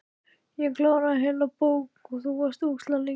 Ég kláraði heila bók, þú varst svo ógeðslega lengi.